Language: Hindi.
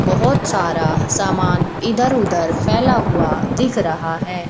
बहोत सारा सामान इधर उधर फैला हुआ दिख रहा है।